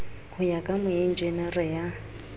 ho ya ka moenjenere ya